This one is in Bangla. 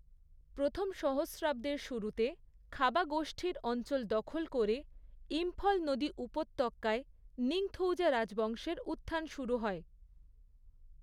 প্রথম সহস্রাব্দের শুরুতে, খাবা গোষ্ঠীর অঞ্চল দখল করে ইম্ফল নদী উপত্যকায় নিংথৌজা রাজবংশের উত্থান শুরু হয়।